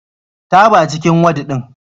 Taba cikin wad ɗin.